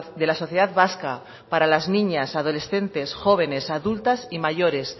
de la sociedad vasca para las niñas adolescentes jóvenes adultas y mayores